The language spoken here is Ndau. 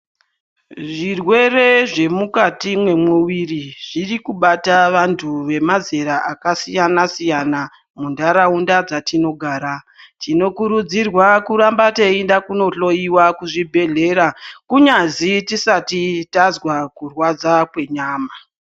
Zvirwere zvemukati mwemuviri zviri kubata vantu vemazera akasiyana -siyana mundaraunda dzatinogara. Tinokurudzirwa kuramba teienda kunohloiwa kuzvibhedhlera kunyazi tisati tazwa kurwadza kwenyama.